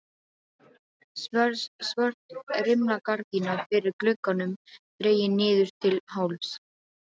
Svört rimlagardína fyrir glugganum dregin niður til hálfs.